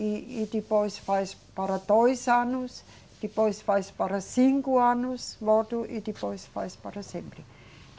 E, e depois faz para dois anos, depois faz para cinco anos, voto, e depois faz para sempre.